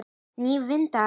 Nýir vindar?